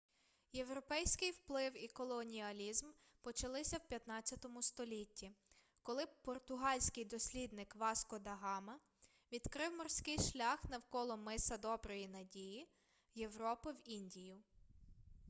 європейський вплив і колоніалізм почалися в 15 столітті коли португальський дослідник васко да гама відкрив морський шлях навколо миса доброї надії європи в індію